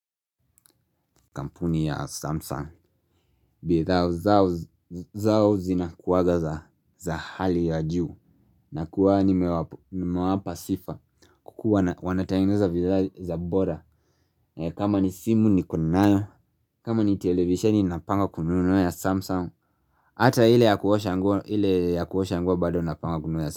Kampuni ya Samsung bidhaa zao zinakuwaga za hali ya juu nakuwanga nimewapa sifa kukua wanatengeneza bidhaa za bora kama ni simu niko nayo kama ni televisheni ninapanga kununua ya Samsung Hata ile ya kuosha nguo bado napanga kununua ya Samsung.